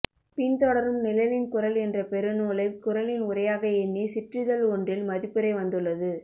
பின் தொடரும் நிழலின் குறள் என்ற பெருநூலை குறளின் உரையாக எண்ணி சிற்றிதழ் ஒன்றில் மதிப்புரை வந்துள்ளது